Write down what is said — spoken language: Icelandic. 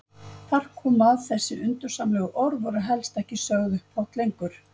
Þar kom að þessi undursamlegu orð voru helst ekki sögð upphátt lengur.